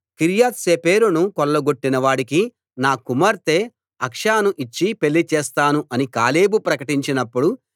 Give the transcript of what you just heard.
కిర్యత్ సేఫెరును కొల్లగొట్టిన వాడికి నా కుమార్తె అక్సాను ఇచ్చి పెళ్లి చేస్తాను అని కాలేబు ప్రకటించినప్పుడు